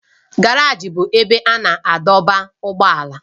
Garaji bụ ebe a na-adọba ụgbọala.